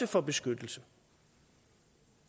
for beskyttelse